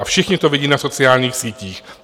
A všichni to vidí na sociálních sítích.